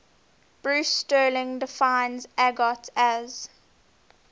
bruce sterling defines argot as